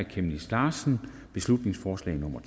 chemnitz larsen beslutningsforslag nummer